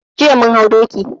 Jiya mun hau doki.